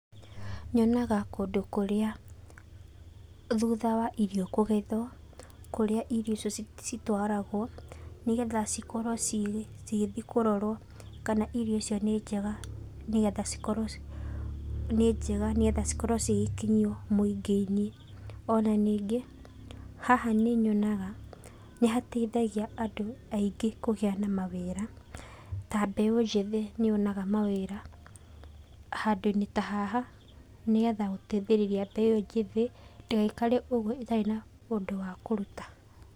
Nyonaga kũndũ kũrĩa thutha wa irio icio kũgethwo, kũrĩa irio icio citwaragwo nĩgetha cikorwo cigĩthiĩ kũrorwo kana hihi irio icio nĩnjega nĩgetha cikoro nĩnjega nĩgetha cigĩkinyio mũingĩ-inĩ. Na nyingĩ haha nĩnyonaga nĩhateithagia andũ aingĩ kũgĩa na mawĩra ta mbeũ njĩthĩ nĩyonaga mawĩra, handũinĩ tahaha nĩgetha gũteithĩrĩria mbeũ njĩthĩ ndĩgaikare ũguo ĩtarĩ na ũndũ wa kũruta.